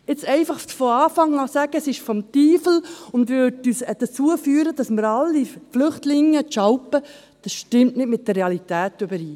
Von Anfang an zu sagen, es sei des Teufels und führe dazu, dass wir alle Flüchtlinge treten – dies stimmt nicht mit der Realität überein.